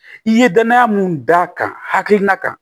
I ye danaya mun d'a kan hakilina kan